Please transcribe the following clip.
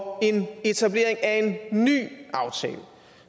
og en etablering af en ny aftale